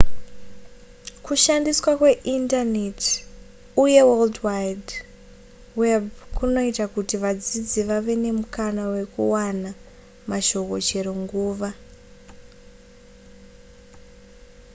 kushandiswa kweindaneti uye world wide web kunoita kuti vadzidzi vave nemukana wekuwana mashoko chero nguva